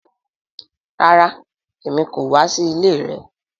Rara Emi ko wa si ile rẹ